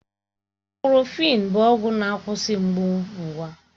Ibụ́profị́n bụ ọgwụ na-akwụsị mgbu ngwa